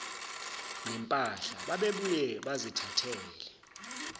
nempahla babebuye bazithathele